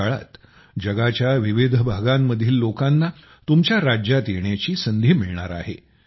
या काळात जगाच्या विविध भागांमधील लोकांना तुमच्या राज्यात येण्याची संधी मिळणार आहे